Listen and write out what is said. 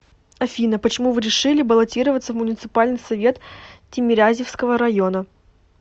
афина почему вы решили баллотироваться в муниципальный совет тимирязевского района